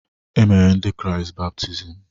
E mere ndị kraịst baptizim.